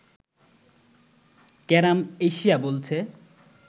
carrom Asia বলছে